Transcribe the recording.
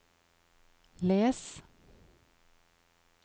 les